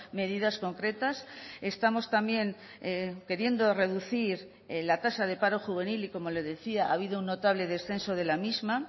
medidas concretas estamos también queriendo reducir la tasa de paro juvenil y como le decía ha habido un notable descenso de la misma